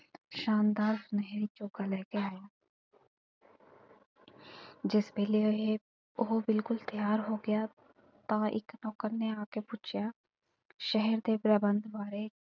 ਸ਼ਾਨਦਾਰ ਮਹਲ ਚੋਖਾ ਲੈ ਕੇ ਆਇਆ ਜਿਸ ਵੇਲੇ ਇਹ ਉਹ ਬਿਲਕੁੱਲ ਤਿਆਰ ਹੋ ਗਿਆ ਤਾਂ ਇੱਕ ਨੌਕਰ ਨੇ ਆ ਕੇ ਪੁੱਛਿਆ, ਸ਼ਹਿਰ ਦੇ ਪ੍ਰਬੰਧ ਬਾਰੇ।